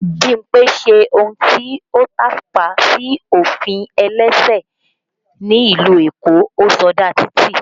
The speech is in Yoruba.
Bímpé ṣe ohun tí ó tàpá sí ofin ẹlẹ́sẹ̀ ni ìlú Èkó, ó sọdá títì